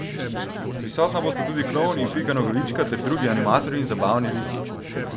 Prisotna bosta tudi klovn in Pika Nogavička ter drugi animatorji in zabavni liki.